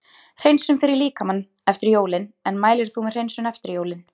Hreinsun fyrir líkamann eftir jólin En mælir þú með hreinsun eftir jólin?